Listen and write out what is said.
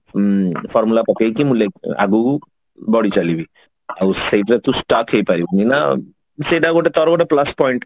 ଉଁ formula ପକେଇକି ମୁଁ ଆଗକୁ ବଢି ଚାଲିବି ଆଉ ସେଇ ଜାଗାରେ ତୁ stock ହେଇ ପାରିବୁନି ନା ସେଟା ଗୋଟେ ତାର ଗୋଟେ plus point